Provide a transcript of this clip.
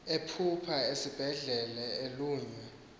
ephupha esesibhedlele elunywa